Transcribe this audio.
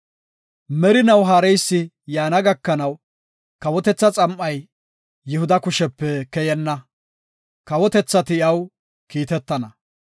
Merinaw haareysi yaana gakanaw kawotetha xam7ay, Yihuda kushepe keyenna; kawotethati iyaw kiitetana.